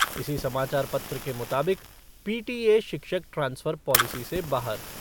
इसी समाचार पत्र के मुताबिक पीटीए शिक्षक ट्रांसफ़र पॉलिसी से बाहर।